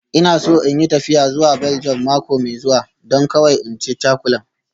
Ina so in yi tafiya zuwa Belgium mako mai zuwa, don kawai in ci cakulan